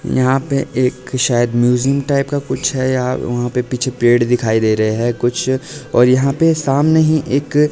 यहां पे एक शायद म्यूजियम टाइप का कुछ है या वहां पे पीछे पेड़ दिखाई दे रहे हैं कुछ और यहां पे सामने ही एक--